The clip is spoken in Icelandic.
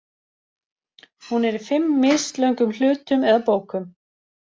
Hún er í fimm mislöngum hlutum eða bókum.